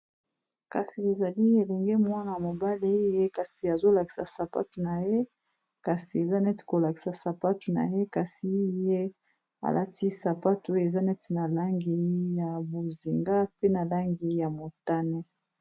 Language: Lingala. Kasi ezali eenge mwana mobali ye kasi azolakisa sapatu na ye kasi eza neti kolakisa sapatu na ye kasi ye alati sapatu oyo eza neti na langi ya bozinga pe na langi ya motane.